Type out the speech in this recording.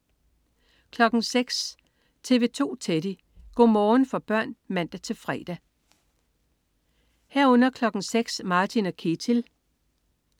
06.00 TV 2 Teddy. Go' morgen for børn (man-fre) 06.00 Martin og Ketil (man-fre)